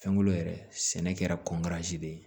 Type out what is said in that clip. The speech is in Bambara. Fɛnkolo yɛrɛ sɛnɛ kɛra de ye